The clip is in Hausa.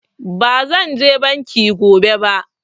Ba zan je banki ba gobe